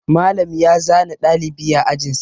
Malam ya zane ɗalibi a ajin sa.